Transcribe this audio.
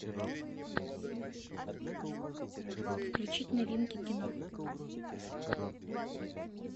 включить новинки кино